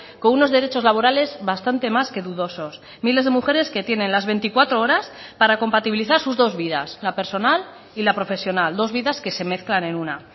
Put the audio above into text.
con unos derechos laborales bastante más que dudosos miles de mujeres que tienen las veinticuatro horas para compatibilizar sus dos vidas la personal y la profesional dos vidas que se mezclan en una